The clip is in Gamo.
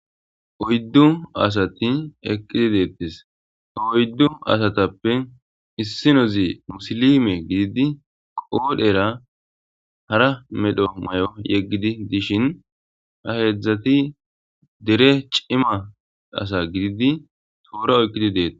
Oyddu asati eqqidi deetets. Oyddu asatappe issinozi musilime gididi qoodhera hara medho mayo yeggidi dishin ha heedzdzati dere cima asa gididi toora oyiqqidi deettes.